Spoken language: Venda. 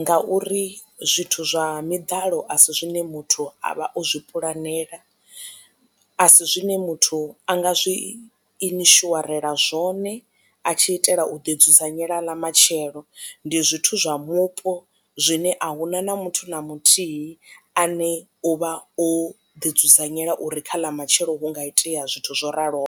ngauri zwithu zwa miḓalo a si zwine muthu a vha o zwi puḽanela a si zwine muthu a nga zwi inishuarela zwone a tshi itela u ḓi dzudzanyela ḽa matshelo ndi zwithu zwa mupo zwine a huna na muthu na muthihi ane u vha o ḓi dzudzanyela uri kha ḽa matshelo hu nga itea zwithu zwo raloho.